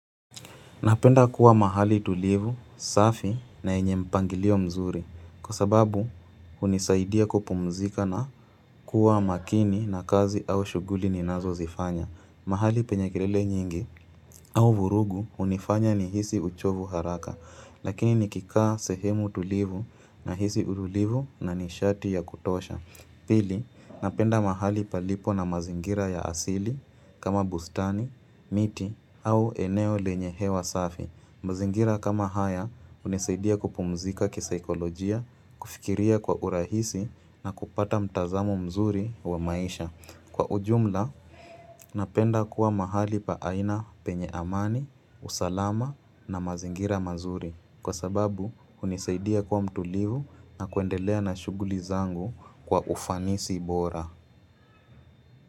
Napenda kuwa mahali tulivu, safi na yenye mpangilio mzuri kwa sababu hunisaidia kupumzika na kuwa makini na kazi au shughuli ninazo zifanya. Mahali penye kirele nyingi au vurugu hunifanya nihisi uchovu haraka lakini nikikaa sehemu tulivu na hisi urudivu na nishati ya kutosha. Pili, napenda mahali palipo na mazingira ya asili kama bustani, miti au eneo lenye hewa safi. Mazingira kama haya hunisaidia kupumzika kisaikolojia, kufikiria kwa urahisi na kupata mtazamo mzuri wa maisha. Kwa ujumla, napenda kuwa mahali pa aina penye amani, usalama na mazingira mazuri. Kwa sababu hunisaidia kuwa mtulivu na kuendelea na shughuli zangu kwa ufanisi bora.